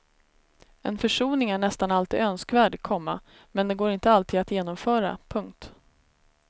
En försoning är nästan alltid önskvärd, komma men den går inte alltid att genomföra. punkt